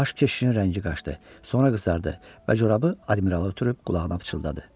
Baş keşişin rəngi qaçdı, sonra qızardı və corabı admirala ötürüb qulağına pıçıldadı.